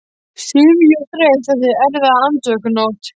Syfjuð og þreytt eftir erfiða andvökunótt.